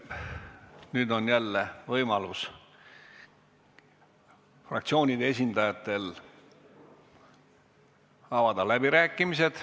Nüüd on võimalus fraktsioonide esindajatel avada läbirääkimised.